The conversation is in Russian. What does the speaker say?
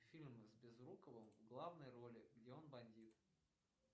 фильм с безруковым в главной роли где он бандит